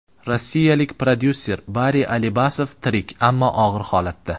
Rossiyalik prodyuser Bari Alibasov tirik, ammo og‘ir holatda.